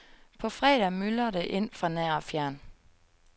På fredag myldrer det ind fra nær og fjern.